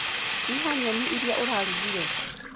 Ciha nyeni iria ũragũrire?